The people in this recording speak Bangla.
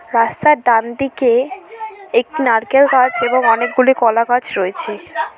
রাস্তার ডান দিকে একটি নারকেল গাছ এবং অনেকগুলি কলাগাছ রয়েছে।